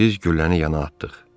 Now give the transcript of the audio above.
Biz gülləni yana atdıq.